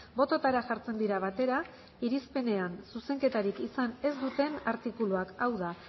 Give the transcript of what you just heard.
bototara jartzen dira batera irizpenean zuzenketarik izan ez duten artikuluak hau da